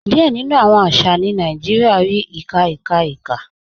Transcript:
Díẹ̀ nínu awọn àṣà ní Nàìjíríà rí awọn ìkà ìkà ìkà.